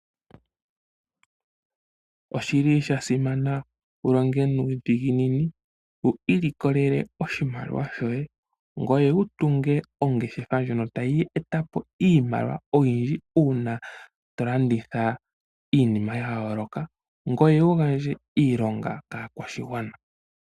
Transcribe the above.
Oshili shasimana wulonge nuudhiginini ,wu ilikolele oshimaliwa shoye, ngweye wutunge ongeshefa ndyono tayi etapo iimaliwa oyindji uuna tolanditha iinima yayooloka ngweye wugandje iilonga kaakwashigwana